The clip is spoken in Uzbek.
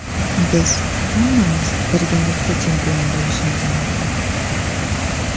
Biz hammamiz birgalikda chempion bo‘lishimiz mumkin.